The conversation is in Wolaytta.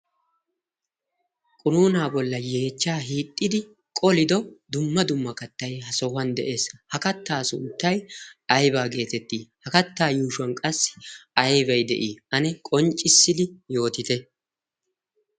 qunuuna bolla yeechchaa hiixxidi qolido dumma dumma kattay ha sohuwan de'ees ha kattaa sunttay aybaa geetettii ha kattaa yuushuwan qassi aybay de'ii ane qonccissidi yootite